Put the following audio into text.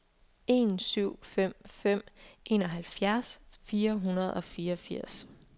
en syv fem fem enoghalvfjerds fire hundrede og fireogfirs